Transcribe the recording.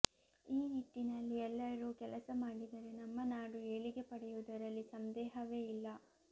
ಈ ನಿಟ್ಟಿನಲ್ಲಿ ಎಲ್ಲರೂ ಕೆಲಸ ಮಾಡಿದರೆ ನಮ್ಮ ನಾಡು ಏಳಿಗೆ ಪಡೆಯುವುದರಲ್ಲಿ ಸಂದೇಹವೇ ಇಲ್ಲ